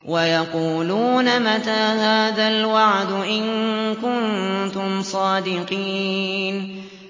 وَيَقُولُونَ مَتَىٰ هَٰذَا الْوَعْدُ إِن كُنتُمْ صَادِقِينَ